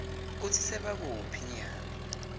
kutsi sebakuphi nyalo